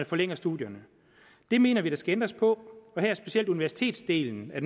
forlænger studierne det mener vi der skal ændres på og her har specielt universitetsdelen af